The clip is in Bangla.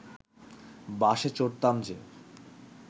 বাসে চড়তাম যে